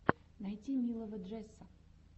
найти милого джесса